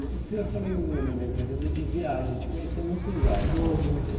O senhor falou, no meio da entrevista, de viagens, de conhecer muitos lugares. Vou, muitos.